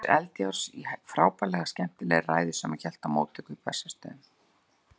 Kristjáns Eldjárns, í frábærlega skemmtilegri ræðu, sem hann hélt í móttöku á Bessastöðum.